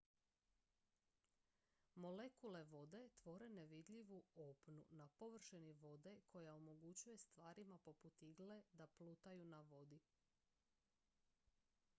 molekule vode tvore nevidljivu opnu na površini vode koja omogućuje stvarima poput igle da plutaju na vodi